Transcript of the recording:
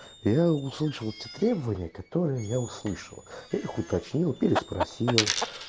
я услышал эти требования которые я услышала их уточнил переспросил